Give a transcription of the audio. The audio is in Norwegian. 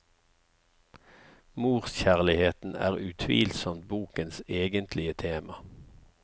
Morskjærligheten er utvilsomt bokens egentlige tema.